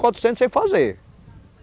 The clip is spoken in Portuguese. Quatrocentos sem fazer.